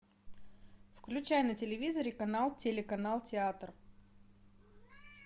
включай на телевизоре канал телеканал театр